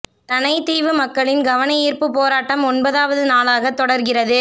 இரணைதீவு மக்களின் கவனயீர்ப்பு போராட்டம் ஒன்பதாவது நாளாகவும் தொடர்கிறது